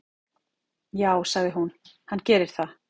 """Já, sagði hún, hann gerir það."""